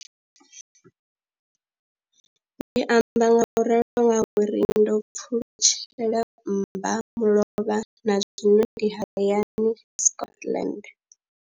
Ndi amba ngauralo nga uri ndo pfulutshela mmbamulovha na zwino ndi hayani, Scotland.